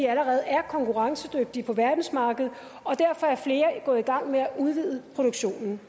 allerede er konkurrencedygtige på verdensmarkedet og derfor er flere gået i gang med at udvide produktionen